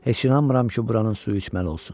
Heç inanmıram ki, buranın suyu içməli olsun.